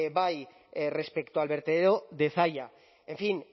bai respecto a la vertedero de zalla en fin